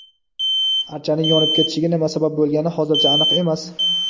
Archaning yonib ketishiga nima sabab bo‘lgani hozircha aniq emas.